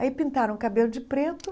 Aí pintaram o cabelo de preto.